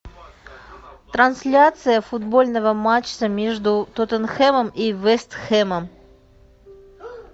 трансляция футбольного матча между тоттенхэмом и вест хэмом